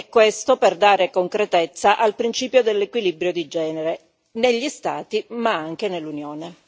Questo per dare concretezza al principio dell'equilibrio di genere negli Stati, ma anche nell'Unione.